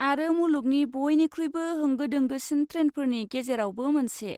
आरो मुलुगनि बयनिख्रुइबो होंगो दोंगोसिन ट्रेनफोरनि गेजेरावबो मोनसे।